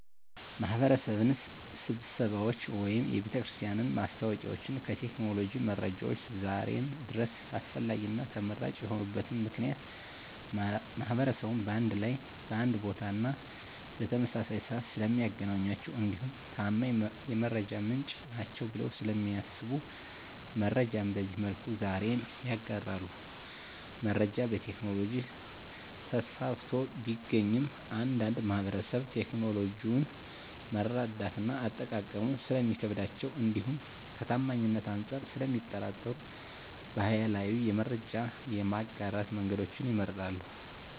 የማህበረሰብ ስብሰባዎች ወይም የቤተክርስቲያን ማስታወቂያዎች ከቴክኖሎጂ መረጃዎች ዛሬም ድረስ አስፈላጊና ተመራጭ የሆኑበት ምክንያት ማህበረሰቡን በአንድ ላይ በአንድ ቦታና በተመሳሳይ ስዓት ስለሚያገኟቸው እንዲሁም ታማኝ የመረጃ ምንጭ ናቸዉ ብለው ስለሚያስቡ መረጃን በዚህ መልኩ ዛሬም ይጋራሉ። መረጃ በቴክኖሎጂ ተስፋፍቶ ቢገኝም አንዳንድ ማህበረሰብ ቴክኖሎጂውን መረዳትና አጠቃቀሙ ስለሚከብዳቸው እንዲሁም ከታማኝነት አንፃር ስለሚጠራጠሩ ባህላዊ የመረጃ የማጋራት መንገዶችን ይመርጣሉ።